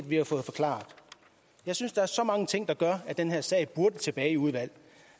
vi har fået forklaret jeg synes der er så mange ting der gør at den her sag burde gå tilbage i udvalget